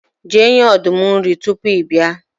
je nye ọdum nri tupu i bia